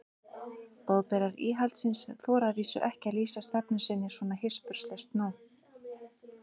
Boðberar íhaldsins þora að vísu ekki að lýsa stefnu sinni svona hispurslaust nú.